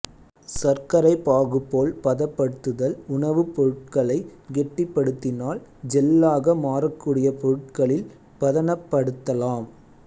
சர்க்கரை பாகு போல் பதப்படுத்துதல் உணவுப் பொருட்களை கெட்டிப்படுத்தினால் ஜெல்லாக மாறக்கூடிய பொருட்களில் பதனப்படுதலாம்